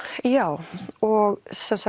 já og